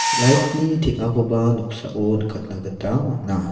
light-ni teng·akoba noksao nikatna gita man·a.